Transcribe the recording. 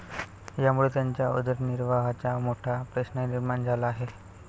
यामुळे त्यांच्या उदरनिर्वाहाचा मोठा प्रश्न निर्माण झाला आहे.